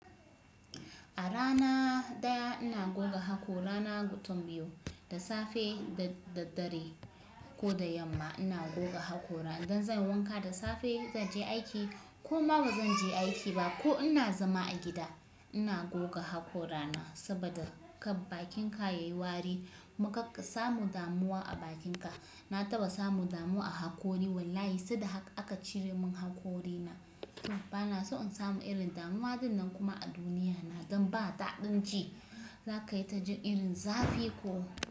A rana ɗaya ina goga haƙora na gutun biyu, da safe da daddare ko da yamma ina goga haƙora. Idan zan yi wanka da safe zan je aiki ko ma ba zan je aiki ba ko ina zama a gida ina goga haƙora na saboda kab akinka ya yi wari kuma kar samu damuwa a bakinka. Na taɓa samu damuwa a haƙori wallahi sai da hak aka cire min haƙorina. Bana so in samu irin damuwa ɗinnan kuma a duniyan nan don ba daɗin ji za ka yi ta jin irin zafi ko.